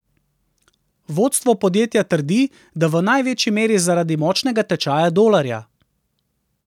Vodstvo podjetja trdi, da v največji meri zaradi močnega tečaja dolarja.